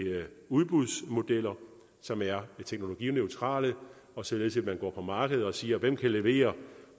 udbudsmodeller som er teknologineutrale således at man går på markedet og eksempelvis siger hvem kan levere